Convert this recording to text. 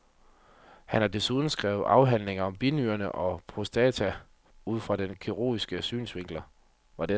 Han har desuden skrevet afhandlinger om binyrerne og prostata ud fra kirurgiske synsvinkler.